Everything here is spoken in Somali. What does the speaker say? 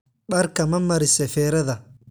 Dharka mamarise ferada?